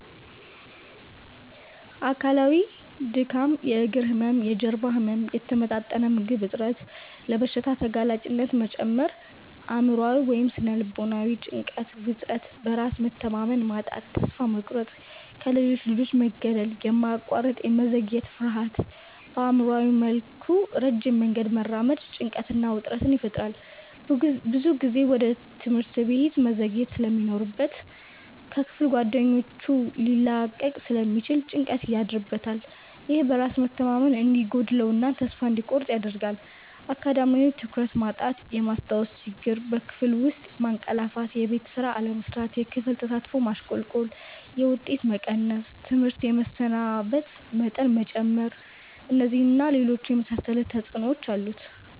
አካላዊ:-ድካም፣ የእግር ህመም፣ የጀርባ ህመም፣ የተመጣጠነ ምግብ እጥረት፣ ለበሽታ ተጋላጭነት መጨመር። አእምሯዊ / ስነ-ልቦናዊ:-ጭንቀት፣ ውጥረት፣ በራስ መተማመን ማጣት፣ ተስፋ መቁረጥ፣ ከሌሎች ልጆች መገለል፣ የማያቋርጥ የመዘግየት ፍርሃት። በአእምሯዊ መልኩ ረጅም መንገድ መራመድ ጭንቀትና ውጥረት ይፈጥራል። ብዙ ጊዜ ወደ ትምህርት ቤት መዘግየት ስለሚኖርበት ከክፍል ጓደኞቹ ሊላቀቅ ስለሚችል ጭንቀት ያድርበታል። ይህ በራስ መተማመን እንዲጎድለው እና ተስፋ እንዲቆርጥ ያደርጋል። አካዳሚያዊ:-ትኩረት ማጣት፣ የማስታወስ ችግር፣ በክፍል ውስጥ ማንቀላፋትየቤት ስራ አለመስራት፣ የክፍል ተሳትፎ ማሽቆልቆል፣ የውጤት መቀነስ፣ ትምህርት የመሰናበት መጠን መጨመር። እነዚህን እና ሌሎች የመሳሰሉ ተጽዕኖዎች አሉት።